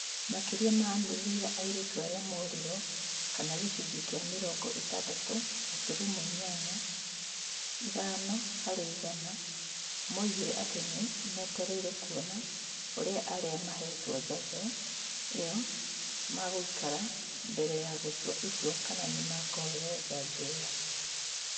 Makĩria ma nuthu ya airĩtu arĩa mooriro, kana gĩcunjĩ kĩa mĩrongo ĩtandatũ gaturumo inyanya ithano harĩ igana, moigire atĩ nĩ metereire kuona ũrĩa arĩa maheetwo njanjo ĩo magũikara mbere ya gũtua itua kana nĩ makũheo njanjo ĩo.